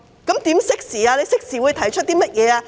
政府會適時提出甚麼措施？